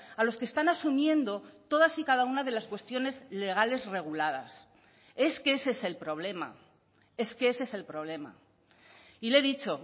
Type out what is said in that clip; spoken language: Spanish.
a los que están asumiendo todas y cada una de las cuestiones legales reguladas es que ese es el problema es que ese es el problema y le he dicho